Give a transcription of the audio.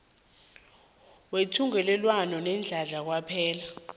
wethungelelwano leenhlahla kwaphela